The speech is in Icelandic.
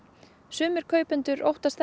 sumir kaupenda óttast